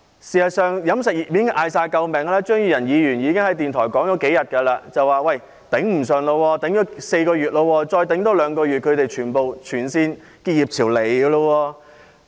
事實上，飲食業已經大叫救命，張宇人議員在電台節目上說，業界已經撐了4個月，再多撐兩個月的話，全線結業潮便會出現。